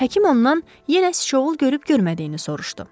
Həkim ondan yenə sıçovul görüb-görmədiyini soruşdu.